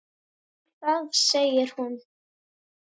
Nú, er það segir hún.